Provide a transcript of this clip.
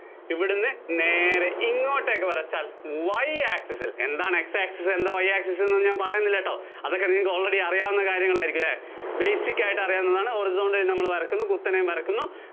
ഇവിടുന്ന് നേരേ ഇങ്ങോട്ടേക്ക് വരച്ചാല്‍ Y access ല്‍ എന്താണ് X access എന്താ, Y access എന്താന്ന് ഞാന്‍ പറയണില്ലാട്ടോ, അതൊക്കെ നിങ്ങള്‍ക്ക് already അറിയാവുന്ന കാര്യമായിരിക്കും അല്ലേ? basic ആയിട്ട് അറിയാവുന്നതാണ്. Horizontal ആയിട്ട് നമ്മള്‍ വരയ്ക്കുന്നു. കുത്തനെയും വരയ്ക്കുന്നു.